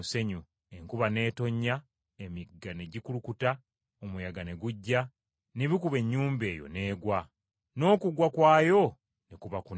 Enkuba n’etonnya, emigga ne gikulukuta, omuyaga ne gujja, ne bikuba ennyumba eyo, n’egwa, n’okugwa kwayo ne kuba kunene.”